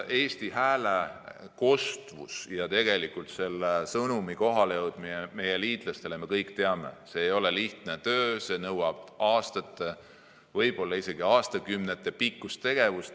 Eesti hääle kostmine ja tegelikult sõnumi kohaleviimine meie liitlastele, me kõik teame, ei ole lihtne töö, see nõuab aastate‑, võib-olla isegi aastakümnetepikkust tegevust.